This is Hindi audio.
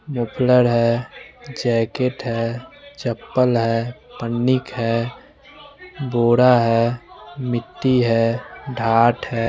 मुफलर है जैकेट है चप्पल है पनिक है बोरा है मिट्टी है ढाट है।